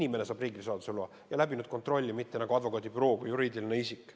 Inimene saab riigisaladuse loa, mitte advokaadibüroo kui juriidiline isik.